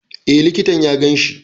E likitan ƙanwata ce.